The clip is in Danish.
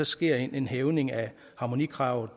sker en hævning af harmonikravet